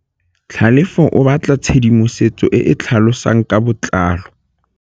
Tlhalefô o batla tshedimosetsô e e tlhalosang ka botlalô.